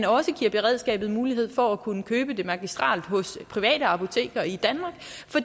også giver beredskabet mulighed for at kunne købe det magistrelt hos private apoteker i danmark for